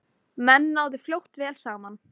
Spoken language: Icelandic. Menn náðu fljótt vel saman.